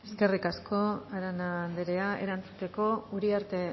eskerrik asko arana andrea erantzuteko uriarte